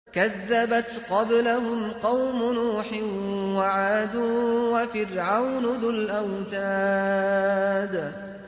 كَذَّبَتْ قَبْلَهُمْ قَوْمُ نُوحٍ وَعَادٌ وَفِرْعَوْنُ ذُو الْأَوْتَادِ